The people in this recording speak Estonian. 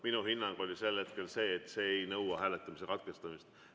Minu hinnang oli sel hetkel see, et see ei nõua hääletamise katkestamist.